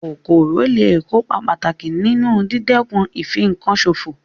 Kòkòrò lé è kópa pàtàkì nínu dídẹ̀kun ìfinkan sòfò